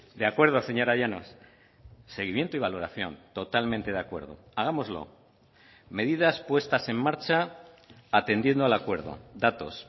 de acuerdo señora llanos seguimiento y valoración totalmente de acuerdo hagámoslo medidas puestas en marcha atendiendo al acuerdo datos